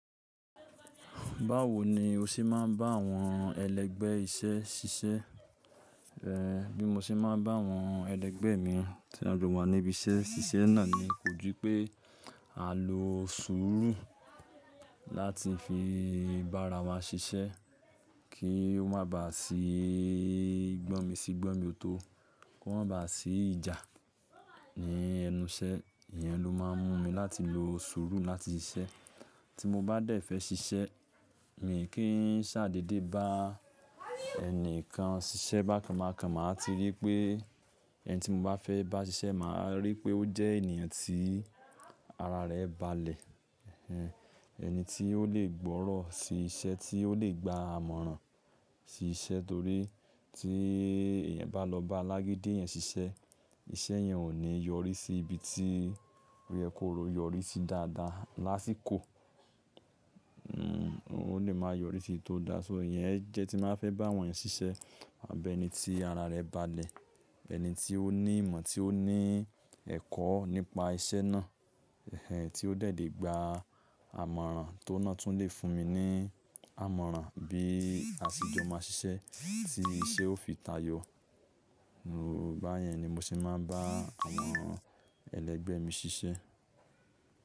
Báwo ni o ṣe máa ń bá àwọn ẹlẹgbẹ́ iṣẹ́ ṣiṣẹ́? Eh, bí mo ṣe máa ń bá àwọn ẹlẹgbẹ́ mi tí a jọ wà níbi iṣẹ́ ṣiṣẹ́ náà ni, kò jú pé à ń lo sùúrù láti fi bára wa ṣiṣẹ́ kí ó má bà sí gbọ́mi sígbọ́mi ọ̀tọ̀, kó má bà sí ìjà ní ẹnu iṣẹ́. Ìyẹn ló máa ń mú mi láti lo sùúrù láti ṣiṣẹ́. Tí mo bá dẹ̀ fẹ́ ṣiṣẹ́, mì kí ń ṣàdéé dé bá ẹni kan ṣiṣẹ́ bákan bákan, màá ti rí pé ẹni tí mo bá fẹ́ bá ṣiṣẹ́, màá rí pé ó jẹ́ ènìyàn tí ara rẹ̀ balẹ̀. Ehen, ẹni tí ó lè gbọ́rọ̀ sí iṣẹ́, tí ó lè gba àmọ̀ràn sí iṣẹ́ torí tí ẹ̀yan bá lọ bá alágídí eyan ṣiṣẹ́, iṣẹ́ yẹn ò ní yọrí sí ibi tí oyẹ kó yọrí sí dáadáa lásìkò. Hmm, ó lè máa yọrí sí tí ó da. So ìyẹn jẹ́ tí n bàá fẹ́ bá wọ́n eyan ṣi iṣẹ́. Àbi ẹni tí ara rẹ̀ balẹ̀, ẹ̀ni tí ó ní ìmọ̀, tí ó ní ẹ̀kọ́ nípa iṣẹ́ náà. Ehen, tí ó dé lé gba àmọ̀ràn tó n ná tún lè fún mi ní àmọ̀ràn bí àsejọ má ṣiṣẹ́ tí iṣẹ́ ó fi tayò. Bá yẹn ni mo ṣe máa ń bá àwọn ẹlẹgbẹ́ mi ṣiṣẹ́.